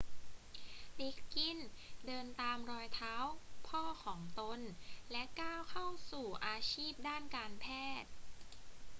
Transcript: ลิกกินส์เดินตามรอยเท้าพ่อของตน และก้าวเข้าสู่อาชีพด้านการแพทย์